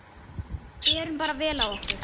Berum bara vel á okkur.